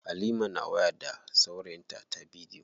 Halima na waya da saurayinta ta bidiyo.